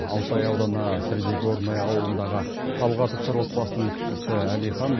алтай ауданы средигорное ауылындағы талғатовтар отбасының кішісі әлихан